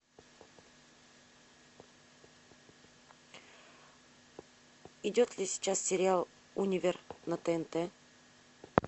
идет ли сейчас сериал универ на тнт